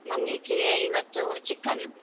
ನಂಗೆ ಇವತ್ತು chicken ಉ.